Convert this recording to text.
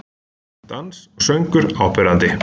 Dans og söngur áberandi